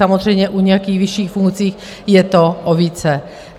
Samozřejmě u nějakých vyšších funkcí je to o více.